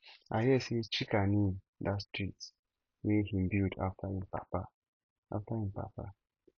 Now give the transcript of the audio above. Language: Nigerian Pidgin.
i hear say chika name dat street wey he build after im papa after im papa